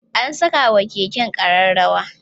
Ana sakawa Keke kararrawa